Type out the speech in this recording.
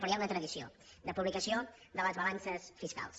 però hi ha una tradició de publicació de les balances fiscals